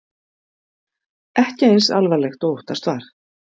Ekki eins alvarlegt og óttast var